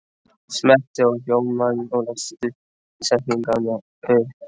spyr hún og er eitt risastórt spurningamerki í framan.